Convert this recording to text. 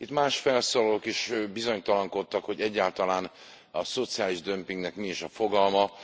Itt más felszólalók is bizonytalankodtak, hogy egyáltalán a szociális dömpingnek mi is a fogalma.